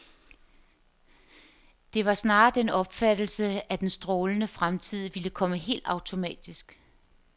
Det var snarere den opfattelse, at den strålende fremtid ville komme helt automatisk.